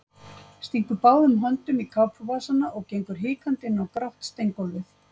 Stingur báðum höndum í kápuvasana og gengur hikandi inn á grátt steingólfið.